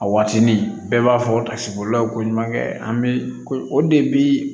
A waatini bɛɛ b'a fɔ a sibolilaw ko ɲumankɛ an bɛ o de